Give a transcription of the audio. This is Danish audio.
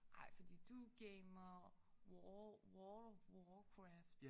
Ej for du gamer war war warcraft